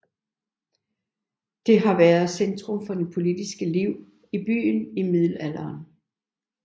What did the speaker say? Det har været centrum for det politiske liv i byen i middelalderen